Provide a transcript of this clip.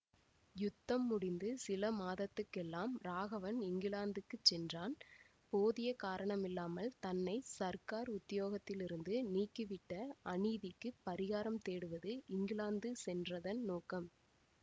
யுத்தம் முடிந்து சில மாதத்துக்கெல்லாம் ராகவன் இங்கிலாந்துக்குச் சென்றான் போதிய காரணமில்லாமல் தன்னை சர்க்கார் உத்தியோகத்திலிருந்து நீக்கிவிட்ட அநீதிக்குப் பரிகாரம் தேடுவது இங்கிலாந்து சென்றதன் நோக்கம்